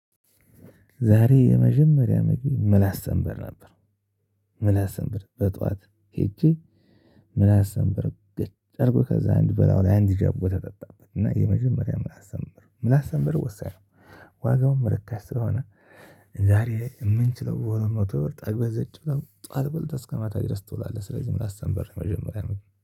ዛሬ የመጀመሪያ ምግቤ ምላስ ሰንበር ነበር። ምላስ ሰንበር በጧት ሄጄ ምላስ ሰንበር ገጭ አድርጎ ከዛ አንድ በላዩ ለይ አንድ ጃቦ ተጠጣበት እና የመጀመሪያ ምላስ ሰንበር ምላስ ሰንበር ወሳኝ ነው። ዋጋውም ርካሽ ስለሆነ። ዛሬ የምንችለው በሁለት መቶ ብር ጠግበን ዘጭ ብለን ጠዋት በልተን እስከ ማታ ድረስ ቶሎ ስለዚህ ምላስ ሰንበር መጀመሪያ ነው